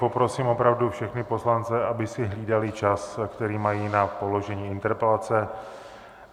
Poprosím opravdu všechny poslance, aby si hlídali čas, který mají na položení interpelace.